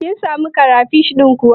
Kin samu karafish ɗin kuwa?